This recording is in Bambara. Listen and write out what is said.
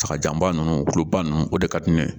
Sagajanba ninnu kuluba ninnu o de ka di ne ye